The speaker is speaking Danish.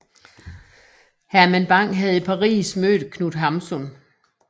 Herman Bang havde i Paris mødt Knut Hamsun